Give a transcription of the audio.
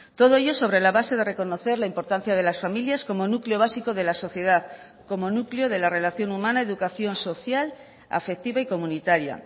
todo ello sobre la base de reconocer la importancia de las familias como núcleo básico de la sociedad como núcleo de la relación humana educación social afectiva y comunitaria